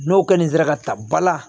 N'o kɔni sera ka ta bala